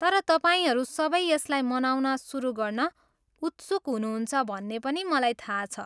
तर तपाईँहरू सबै यसलाई मनाउन सुरु गर्न उत्सुक हुनुहुन्छ भन्ने पनि मलाई थाहा छ।